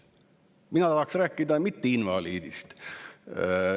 Mina tahaksin rääkida mitteinvaliidist.